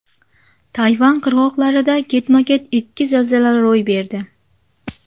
Tayvan qirg‘oqlarida ketma-ket ikki zilzila ro‘y berdi.